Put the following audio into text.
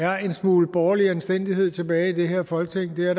er en smule borgerlig anstændighed tilbage i det her folketing det er